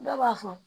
Dɔw b'a fɔ